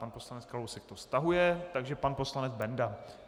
Pan poslanec Kalousek to stahuje, takže pan poslanec Benda.